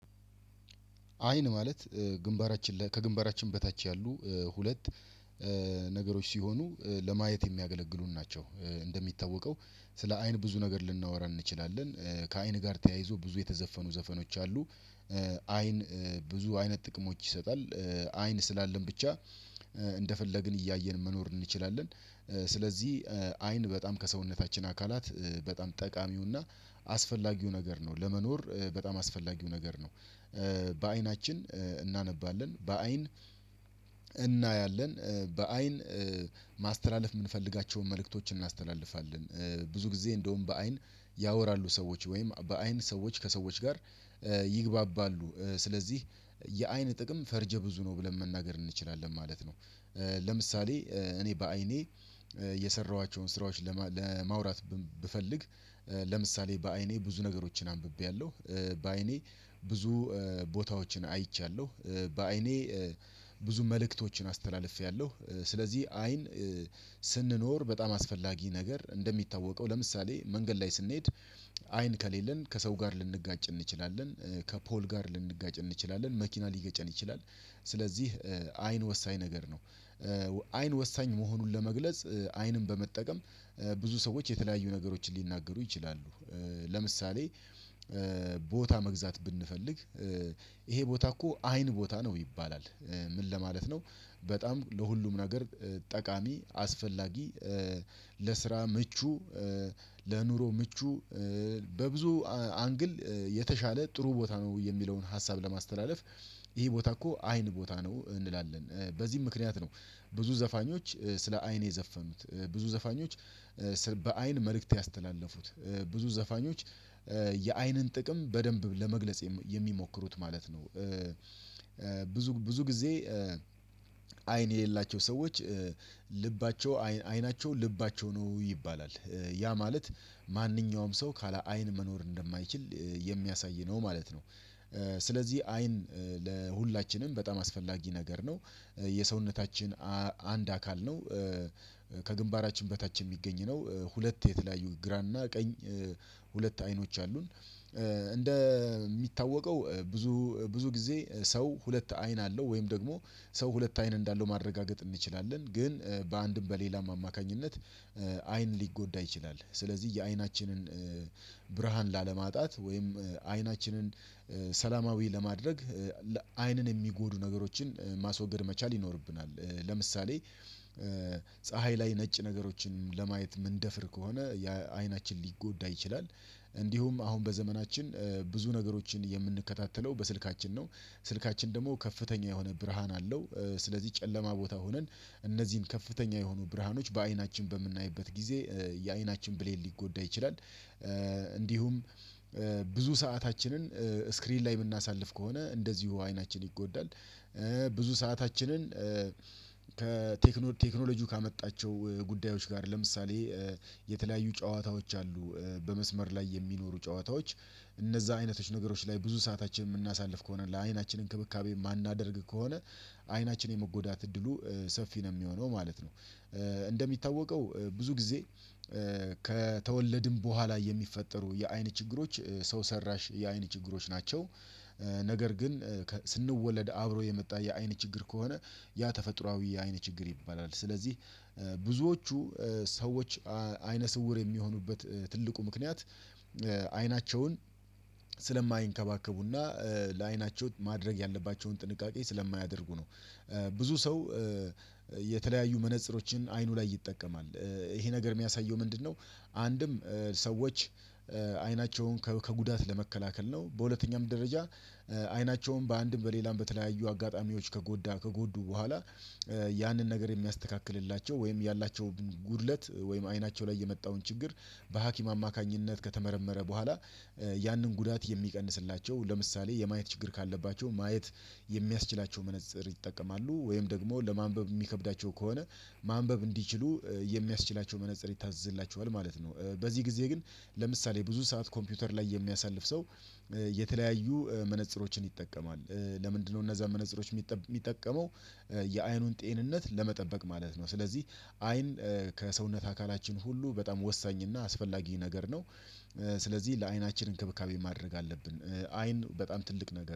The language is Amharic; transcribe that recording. አይን ማለት ግንባራችን ከግንባራችን በታች ያሉ ሁለት ነገሮች ሲሆኑ ለማየት የሚያገለግሉን ናቸው። እንደሚታወቀው ስለ አይን ብዙ ነገር ልናወራ እንችላለን። ከአይን ጋር ተያይዞ ብዙ የተዘፈኑ ዘፈኖች አሉ። አይን ብዙ አይነት ጥቅሞች ይሰጣል። አይን ስላለን ብቻ እንደፈለግን እያየን መኖር እንችላለን። ስለዚህ አይን በጣም ከሰውነታችን አካላት በጣም ጠቃሚውና አስፈላጊው ነገር ነው ለመኖር በጣም አስፈላጊው ነገር ነው። በአይናችን እናነባለን በአይን እናያለን በአይን ማስተላለፍ እምንፈልጋቸውን መልእክቶች እናስተላልፋለን። ብዙ ጊዜ እንደውም በአይን ያወራሉ ሰዎች ወይም በአይን ሰዎች ከሰዎች ጋር ይግባባሉ። ስለዚህ የአይን ጥቅም ፈርጀ ብዙ ነው ብለን መናገር እንችላለን ማለት ነው። ለምሳሌ እኔ በአይኔ የሰራኋቸውን ስራዎች ለማውራት ብፈልግ ለምሳሌ በአይኔ ብዙ ነገሮችን አንብቤያለሁ። በአይኔ ብዙ ቦታዎችን አይቻለሁ። በአይኔ ብዙ መልእክቶችን አስተላልፌያለሁ። ስለዚህ አይን ስንኖር በጣም አስፈላጊ ነገር እንደሚታወቀው ለምሳሌ መንገድ ላይ ስንሄድ አይን ከሌለን ከሰው ጋር ልንጋጭ እንችላለን ከፖል ጋር ልንጋጭ እንችላለን መኪና ሊገጨን ይችላል። ስለዚህ አይን ወሳኝ ነገር ነው። አይን ወሳኝ መሆኑን ለመግለጽ አይንን በመጠቀም ብዙ ሰዎች የተለያዩ ነገሮችን ሊናገሩ ይችላሉ። ለምሳሌ ቦታ መግዛት ብንፈልግ ይሄ ቦታ እኮ አይን ቦታ ነው ይባላል። ምን ለማለት ነው? በጣም ለሁሉም ነገር ጠቃሚ አስፈላጊ ለስራ ምቹ ለኑሮ ምቹ በብዙ አንግል የተሻለ ጥሩ ቦታ ነው የሚለውን ሀሳብ ለማስተላለፍ ይሄ ቦታ እኮ አይን ቦታ ነው እንላለን በዚህም ምክንያት ነው። ብዙ ዘፋኞች ስለ አይን የዘፈኑት ብዙ ዘፋኞች በአይን መልእክት ያስተላለፉት ብዙ ዘፋኞች የአይንን ጥቅም በደንብ ለመግለጽ የሚሞክሩት ማለት ነው። ብዙ ብዙ ጊዜ አይን የሌላቸው ሰዎች ልባቸው አይናቸው ልባቸው ነው ይባላል። ያ ማለት ማንኛውም ሰው ካለ አይን መኖር እንደማይችል የሚያሳይ ነው ማለት ነው። ስለዚህ አይን ለሁላችንም በጣም አስፈላጊ ነገር ነው። የሰውነታችን አንድ አካል ነው። ከግንባራችን በታች የሚገኝ ነው። ሁለት የተለያዩ ግራና ቀኝ ሁለት አይኖች አሉን። እንደ እሚታወቀው ብዙ ብዙ ጊዜ ሰው ሁለት አይን አለው ወይም ደግሞ ሰው ሁለት አይን እንዳለው ማረጋገጥ እንችላለን። ግን በአንድም በሌላም አማካኝነት አይን ሊጎዳ ይችላል ስለዚህ የአይናችንን ብርሃን ላለማጣት ወይም አይናችንን ሰላማዊ ለማድረግ አይንን የሚጎዱ ነገሮችን ማስወገድ መቻል ይኖርብናል። ለምሳሌ ፀሀይ ላይ ነጭ ነገሮችን ለማየት እምንደፍር ከሆነ አይናችን ሊጎዳ ይችላል። እንዲሁም አሁን በዘመናችን ብዙ ነገሮችን የምንከታተለው በስልካችን ነው። ስልካችን ደግሞ ከፍተኛ የሆነ ብርሃን አለው። ስለዚህ ጨለማ ቦታ ሆነን እነዚህን ከፍተኛ የሆኑ ብርሃኖች በአይናችን በምናይበት ጊዜ የአይናችን ብሌን ሊጎዳ ይችላል። እንዲሁም ብዙ ሰአታችንን ስክሪን ላይ እምናሳልፍ ከሆነ እንደዚሁ አይናችን ይጎዳል። ብዙ ሰአታችንን ከቴክኖሎጂው ካመጣቸው ጉዳዮች ጋር ለምሳሌ የተለያዩ ጨዋታዎች አሉ በመስመር ላይ የሚኖሩ ጨዋታዎች እነዛ አይነቶች ነገሮች ላይ ብዙ ሰዓታችን እምናሳልፍ ከሆነ ለአይናችን እንክብካቤ የማናደርግ ከሆነ አይናችን የመጎዳት እድሉ ሰፊ ነው እሚሆነው ማለት ነው። እንደሚታወቀው ብዙ ጊዜ ከተወለድን በኋላ የሚፈጠሩ የአይን ችግሮች ሰው ሰራሽ የአይን ችግሮች ናቸው። ነገር ግን ስንወለድ አብሮ የመጣ የአይን ችግር ከሆነ ያ ተፈጥሮአዊ የአይን ችግር ይባላል። ስለዚህ ብዙዎቹ ሰዎች አይነ ስውር እሚሆኑበት ትልቁ ምክንያት አይናቸውን ስለማይንከባከቡና ለዓይናቸው ማድረግ ያለባቸውን ጥንቃቄ ስለማያደርጉ ነው። ብዙ ሰው የተለያዩ መነጽሮችን አይኑ ላይ ይጠቀማል። ይሄ ነገር እሚያሳየው ምንድነው? አንድም ሰዎች አይናቸውን ከጉዳት ለመከላከል ነው። በሁለተኛም ደረጃ አይናቸውን በአንድም በሌላም በተለያዩ አጋጣሚዎች ከጎዳ ከጎዱ በኋላ ያንን ነገር የሚያስተካክልላቸው ወይም ያላቸው ጉድለት ወይም አይናቸው ላይ የመጣውን ችግር በሀኪም አማካኝነት ከተመረመረ በኋላ ያንን ጉዳት የሚቀንስላቸው ለምሳሌ የማየት ችግር ካለባቸው ማየት የሚያስችላቸው መነፀር ይጠቀማሉ ወይም ደግሞ ለማንበብ የሚከብዳቸው ከሆነ ማንበብ እንዲችሉ የሚያስችላቸው መነፀር ይታዘዝላቸዋል ማለት ነው። በዚህ ጊዜ ግን ለምሳሌ ብዙ ሰዓት ኮምፒውተር ላይ የሚያሳልፍ ሰው። የተለያዩ መነጽሮችን ይጠቀማል። ለምንድነው እነዛ መነጽሮች የሚጠቀመው? የአይኑን ጤንነት ለመጠበቅ ማለት ነው። ስለዚህ አይን ከሰውነት አካላችን ሁሉ በጣም ወሳኝ እና አስፈላጊ ነገር ነው። ስለዚህ ለአይናችን እንክብካቤ ማድረግ አለብን። አይን በጣም ትልቅ ነገር